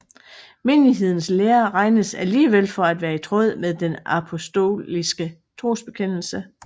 Menighedens lære regnes alligevel for at være i tråd med den apostoliske trosbekendelse